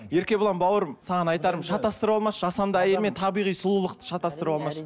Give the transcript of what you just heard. еркебұлан бауырым саған айтарым шатастырып алмашы жасанды әйел мен табиғи сұлулықты шатастырып алмашы